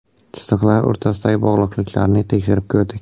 Chiziqlar o‘rtasidagi bog‘liqliklarni tekshirib ko‘rdik.